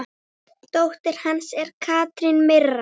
Dóttir hans er Katrín Mirra.